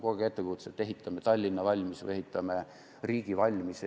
Kogu aeg on ettekujutus, et ehitame Tallinna valmis või ehitame riigi valmis.